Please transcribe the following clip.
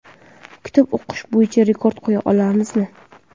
Kitob o‘qish bo‘yicha rekord qo‘ya olamizmi?.